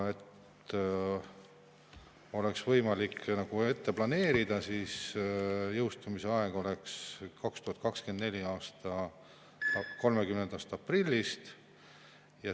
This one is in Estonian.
Et oleks võimalik nagu ette planeerida, siis jõustumise aeg oleks 2024. aasta 30. aprill.